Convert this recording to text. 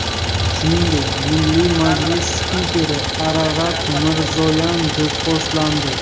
Shuningdek, Milliy majlis spikeri Ararat Mirzoyan do‘pposlandi .